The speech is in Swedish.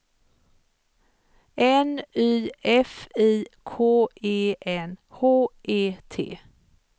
N Y F I K E N H E T